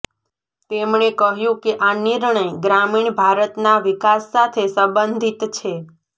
તેમણે કહ્યું કે આ નિર્ણય ગ્રામીણ ભારતના વિકાસ સાથે સંબંધિત છે